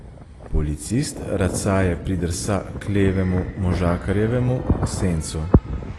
Policist racaje pridrsa k levemu možakarjevemu sencu.